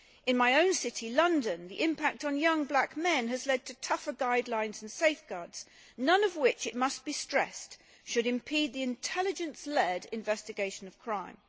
In my own city, London, the impact on young black men has led to tougher guidelines and safeguards none of which, it must be stressed, should impede the intelligence led investigation of crime.